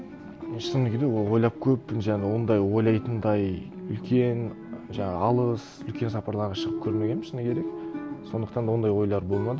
мен шыны керек ол ойлап көрмеппін және ондай ойлайтындай үлкен жаңа алыс үлкен сапарларға шығып көрмегенмін шыны керек сондықтан да ондай ойлар болмады